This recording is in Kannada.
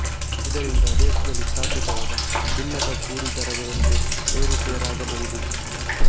ಇದರಿಂದ ದೇಶದಲ್ಲಿ ಸ್ಥಾಪಿತವಾದ ಭಿನ್ನಕ ಕೂಲಿ ದರ ವ್ಯವಸ್ಥೆ ಏರುಪೇರಾಗಬಹುದು